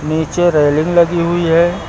नीचे रेलिंग लगी हुई है।